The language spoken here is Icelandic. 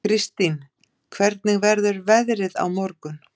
Kirstín, hvernig verður veðrið á morgun?